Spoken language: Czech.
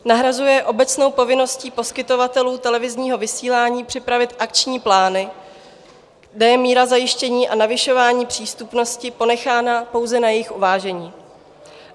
Nahrazuje obecnou povinností poskytovatelů televizního vysílání připravit akční plány, kde je míra zajištění a navyšování přístupnosti ponechána pouze na jejich uvážení.